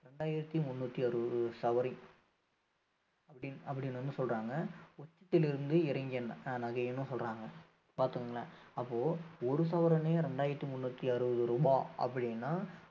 ரெண்டாயிரத்தி முன்னூத்தி அறுபது சவரின் அப்படின்~அப்படின்னு வந்து சொல்றாங்க உச்சத்தில் இருந்து இறங்கிய அஹ் நகைன்னு சொல்றாங்க பார்த்துக்கோங்களேன் அப்போ ஒரு சவரனையே இரண்டாயிரத்தி முன்னூத்தி அறுபது ரூபாய் அப்படின்னா